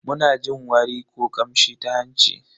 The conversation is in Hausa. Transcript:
Muna jin wari ko kamshi ta hanci.